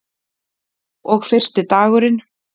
Og fyrsti dagurinn.